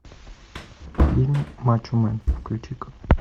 фильм мачо мэн включи ка